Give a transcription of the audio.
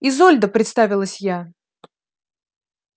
изольда представилась я